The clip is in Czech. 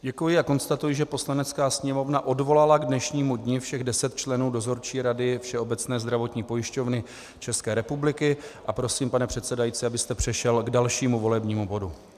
Děkuji a konstatuji, že Poslanecká sněmovna odvolala k dnešnímu dni všech deset členů Dozorčí rady Všeobecné zdravotní pojišťovny České republiky, a prosím, pane předsedající, abyste přešel k dalšímu volebnímu bodu.